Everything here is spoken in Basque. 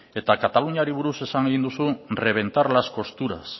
eta kataluniari buruz esan egin duzu reventar las costuras